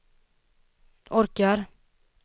orkar